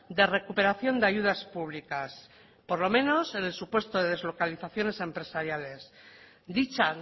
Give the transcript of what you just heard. de recuperación de ayudas públicas por lo menos en el supuesto de deslocalizaciones empresariales dicha